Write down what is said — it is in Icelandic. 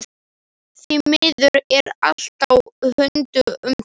Því miður er allt á huldu um það.